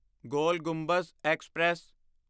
ਗੋਲ Gumbaz express